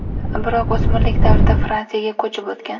Biroq o‘smirlik davrida Fransiyaga ko‘chib o‘tgan.